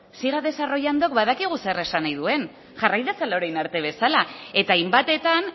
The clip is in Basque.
siga desarrollando badakigu zer esan nahi duen jarrai dezala orain arte bezala eta hainbatetan